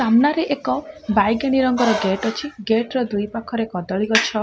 ସାମ୍ନାରେ ଏକ ବାଇଗେଣି ରଙ୍ଗର ଗେଟ୍ ଅଛି ଗେଟ୍ ର ଦୁଇ ପାଖରେ କଦଳି ଗଛ --